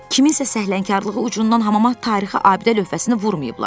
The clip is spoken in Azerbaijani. Kiminsə səhlənkarlığı ucundan hamama tarixi abidə lövhəsini vurmayıblar.